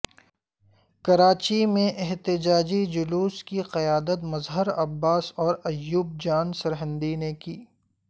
کراچی میں احتجاجی جلوس کی قیادت مظہر عباس اور ایوب جان سرہندی نے کی